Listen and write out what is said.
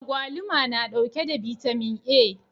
Agwaluma na ɗauke da vitamin a